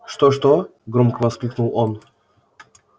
что-что громко воскликнул он